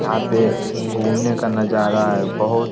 यहन पे घूमने का नजारा है बहुत --